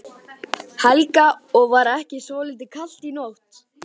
Helga: Og var ekki svolítið kalt í nótt?